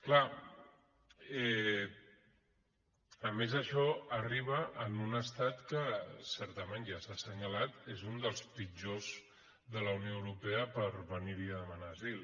clar a més això arriba en un estat que certament ja s’ha assenyalat és un dels pitjors de la unió euro·pea per venir·hi a demanar asil